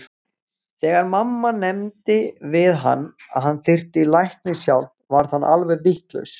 Þegar mamma nefndi við hann að hann þyrfti læknishjálp varð hann alveg vitlaus.